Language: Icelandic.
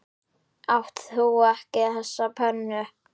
Átt þú ekki þessa pönnu?